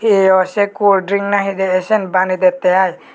eyo se cold drink nahe de ay siyan bane dette ai.